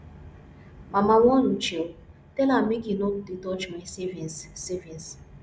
mama warn uche oo tell am make he no dey touch my savings savings